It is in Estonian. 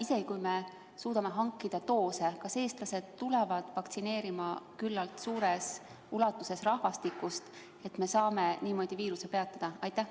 Isegi kui me suudame hankida piisava arvu doose, kas küllalt suur osa rahvastikust tuleb vaktsineerima, nii et me saame niimoodi viiruse peatada?